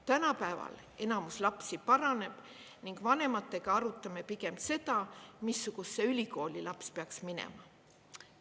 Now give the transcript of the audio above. Tänapäeval enamus lapsi paraneb ning vanematega arutame pigem seda, missugusesse ülikooli laps peaks minema.